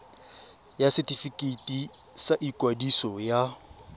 ya setefikeiti sa ikwadiso ya